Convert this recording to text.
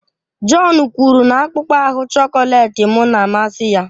John kwuru na akpụkpọ ahu chọkọletị m na-amasị ya